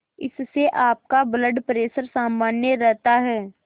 इससे आपका blood pressure सामान्य रहता है